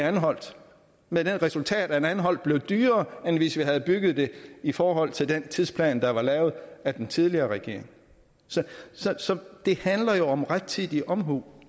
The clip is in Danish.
anholt med det resultat at anholt havvindmøllepark blev dyrere end hvis vi havde bygget det i forhold til den tidsplan der var lavet af den tidligere regering så så det handler jo om rettidig omhu